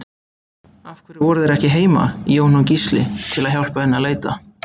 Af hverju voru þeir ekki heima, Jón og Gísli, til að hjálpa henni að leita?